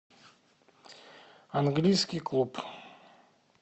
английский клуб